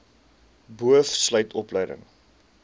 boov sluit opleiding